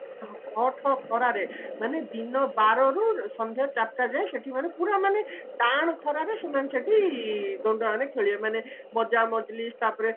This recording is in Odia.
ଠଅ ଠଅ ଖରାରେ ମାନେ ଦିନ ବାରରୁ ସନ୍ଧ୍ୟା ଚାରିଟା ଯାଏ ସେଠି ମାନେ ପୁରା ମାନେ ଟାଣ ଖରାରେ ସେମାନେ ସେମାନେ ସେଠି ଦଣ୍ଡ ମାନେ ଖେଳିବେ ମାନେ ମଜା ମଜଲିସ ତାପରେ